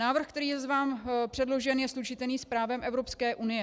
Návrh, který je vám předložen, je slučitelný s právem Evropské unie.